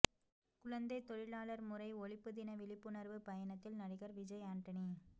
குழந்தை தொழிலாளர் முறை ஒழிப்பு தின விழிப்புணர்வு பயணத்தில் நடிகர் விஜய் ஆண்டனி